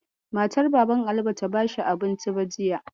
Matar Baban Ali bata bashi abinci ba jiya.